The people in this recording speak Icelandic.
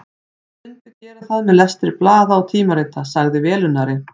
Þeir myndu gera það með lestri blaða og tímarita, sagði velunnari